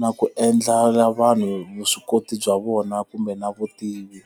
na ku endlela vanhu vuswikoti bya vona kumbe na vutivi.